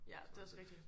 Ja det er også rigtigt